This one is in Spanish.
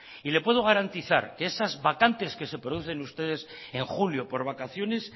y le puedo garantizar que esas vacantes que se producen ustedes en julio por vacaciones